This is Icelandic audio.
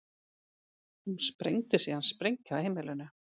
Hún sprengdi síðan sprengju á heimilinu